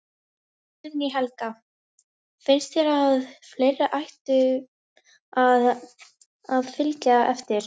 Guðný Helga: Finnst þér að fleiri ættu að, að fylgja eftir?